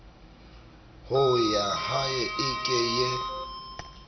ho yahae e ke ye